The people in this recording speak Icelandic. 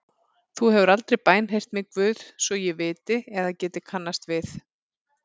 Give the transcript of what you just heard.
Þú hefur aldrei bænheyrt mig Guð svo ég viti eða geti kannast við.